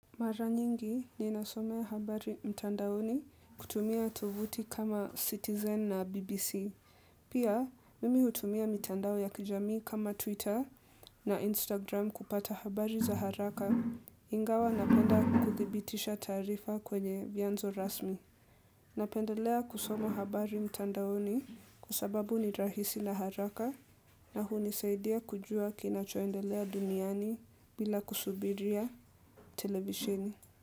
Mara nyingi ninasomea habari mtandaoni kutumia tovuti kama Citizen na BBC. Pia, mimi hutumia mtandao ya kijamii kama Twitter na Instagram kupata habari za haraka. Ingawa napenda kuthibitisha taarifa kwenye vyanzo rasmi. Napendelea kusomo habari mtandaoni kwa sababu ni rahisi na haraka na hunisaidia kujua kinachoendelea duniani bila kusubiria televisheni.